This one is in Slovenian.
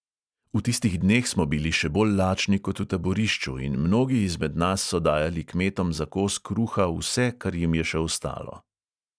V tistih dneh smo bili še bolj lačni kot v taborišču in mnogi izmed nas so dajali kmetom za kos kruha vse, kar jim je še ostalo.